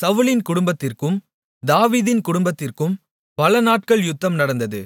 சவுலின் குடும்பத்திற்கும் தாவீதின் குடும்பத்திற்கும் பல நாட்கள் யுத்தம் நடந்தது